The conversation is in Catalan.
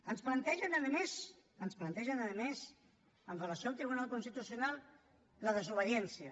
ens plantegen a més ens plantegen a més en relació amb el tribunal constitucional la desobediència